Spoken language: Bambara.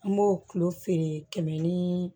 An b'o kulo feere kɛmɛ ni